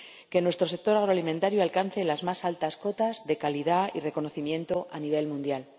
que nuestro sector agroalimentario alcance las más altas cotas de calidad y reconocimiento a nivel mundial.